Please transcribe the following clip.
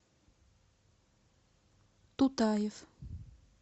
тутаев